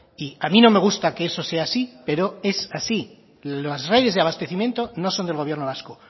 y a mí no me gusta que eso sea así pero es así las redes de abastecimiento no son del gobierno vasco